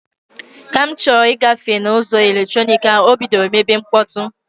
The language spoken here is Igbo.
Ka m na-achọ ịgafe na ụzọ eletronik ha, o bidoro mebe mkpọtụ.